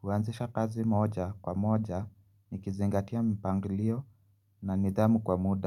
huanzisha kazi moja kwa moja nikizingatia mpangilio na nidhamu kwa muda.